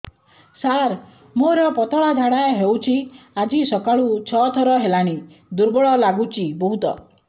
ସାର ମୋର ପତଳା ଝାଡା ହେଉଛି ଆଜି ସକାଳୁ ଛଅ ଥର ହେଲାଣି ଦୁର୍ବଳ ଲାଗୁଚି ବହୁତ